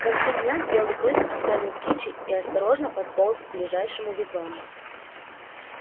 к концу дня белый клык оставил кичи и осторожно подполз к ближайшему вигваму